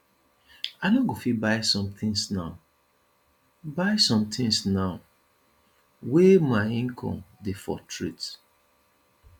i no go fit buy sometins now buy sometins now wey my income dey fluctuate